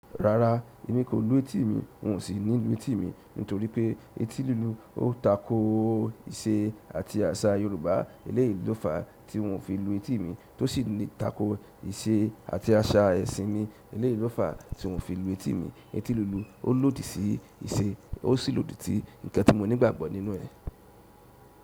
Rara, èmi kò lù etí mi, n ò sì ní lù etí mi nítorí pé etí lílu ó tako ìṣe àti àṣà Yorùbá eléyi lo fa tí n òu fi lù etí mi tó sì ní tako ìṣe àti àṣà ẹ̀sìn mi eléyi lo fa tí n òu fi lù etí mi. Etí lílu ó lòdì sí ìṣe, ó sì lòdì sí ǹkan tí mo nígbàgbọ́ nínú ẹ̀.